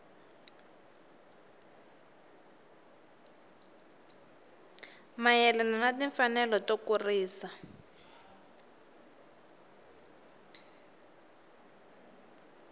mayelana na timfanelo to kurisa